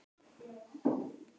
Bara alls ekki?